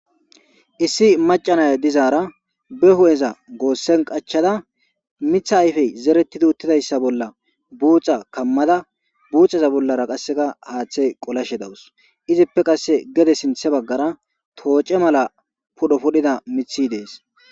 Issi macanaya dizaara be hu'eza goossen qachada mitha ayfey zeretidi uttidayssa bolla buuxa kammada buuxaza bollara qasseka haaththey qolashe dawus izippe qasse gede sinthe baggara tooce mala pudho pudhida mithi dees.